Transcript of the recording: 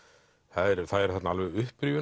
það eru þarna alveg